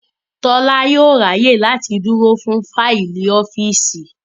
Tọ́lá yóò ráyè láti dúró fún fáìlì ọ́fíìsì